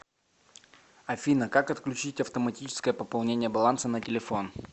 афина как отключить автоматическое пополнение баланса на телефон